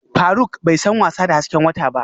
Faruk bai san wasa da hasken wata ba